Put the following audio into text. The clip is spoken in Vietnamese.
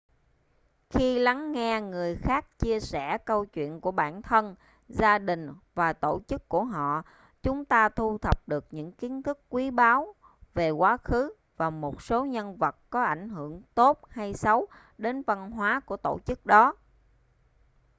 khi lắng nghe người khác chia sẻ câu chuyện của bản thân gia đình và tổ chức của họ chúng ta thu thập được những kiến thức quý báu về quá khứ và một số nhân vật có ảnh hưởng tốt hay xấu đến văn hóa của tổ chức đó